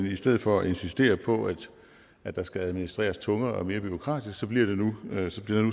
i stedet for at insistere på at der skal administreres tungere og mere bureaukratisk bliver der nu